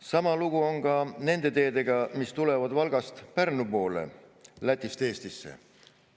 Sama lugu on nende teedega, mis tulevad Valgast Pärnu poole, Lätist Eestisse.